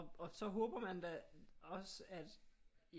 Og så håber man da også at